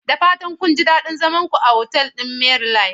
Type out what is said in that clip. Da fatan kun ji daɗin zaman ku a otal ɗin Maryland?